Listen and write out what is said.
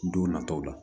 Don nataw la